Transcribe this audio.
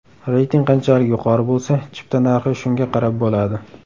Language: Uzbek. Reyting qanchalik yuqori bo‘lsa, chipta narxi shunga qarab bo‘ladi.